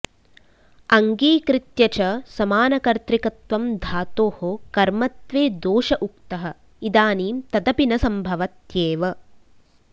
अङ्गीकृत्य च समानकर्त्तृकत्वं धातोः कर्मत्वे दोष उक्तः इदानीं तदपि न सम्भवत्येव